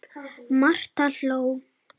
Marta hló.